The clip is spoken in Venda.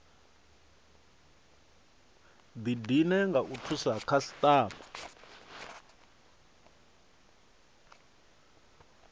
didine nga u thusa khasitama